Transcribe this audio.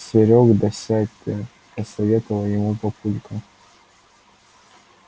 серёг да сядь ты посоветовал ему папулька